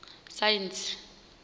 saentsi